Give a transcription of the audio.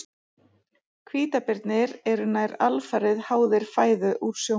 Hvítabirnir eru nær alfarið háðir fæðu úr sjónum.